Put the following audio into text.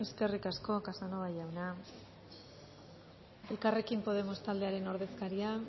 eskerrik asko casanova jauna elkarrekin podemos taldearen ordezkaria